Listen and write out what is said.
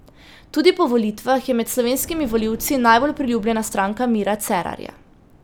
Tudi po volitvah je med slovenskimi volivci najbolj priljubljena stranka Mira Cerarja.